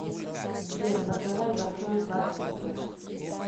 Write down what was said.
сбер заказать большой сладкий сет